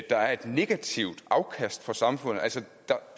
der er et negativt afkast for samfundet så